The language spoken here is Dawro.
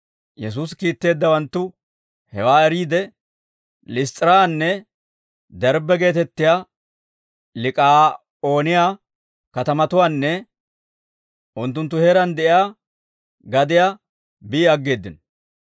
Yesuusi kiitteeddawanttu hewaa eriide, Liss's'iraanne Derbbe geetettiyaa Lik'aa'ooniyaa katamatuwaanne unttunttu heeraan de'iyaa gadiyaa bi aggeeddino;